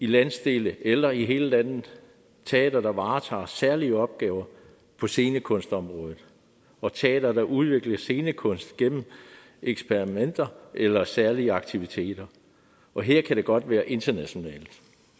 landsdel eller i hele landet teatre der varetager særlige opgaver på scenekunstområdet og teatre der udvikler scenekunst gennem eksperimenter eller særlige aktiviteter og her kan det godt være internationalt